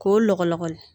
K'o lɔgɔlɔgɔli